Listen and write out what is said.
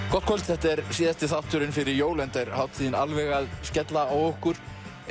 gott kvöld þetta er síðasti þátturinn fyrir jól enda er hátíðin alveg að skella á okkur